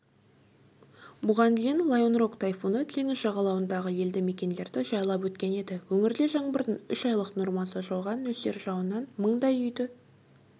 бұған дейін лайонрок тайфуны теңіз жағалауындағы елді мекендерді жайпап өткен еді өңірде жаңбырдың үш айлық нормасы жауған нөсер жауыннан мыңдай үйді